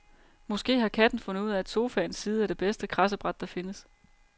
Måske har katten fundet ud af, at sofaens side er det bedste kradsebræt der findes.